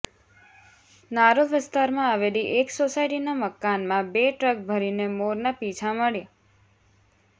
નારોલ વિસ્તારમાં આવેલી એક સોસાયટીના મકાનમાં બે ટ્રક ભરીને મોરના પીંછા મળી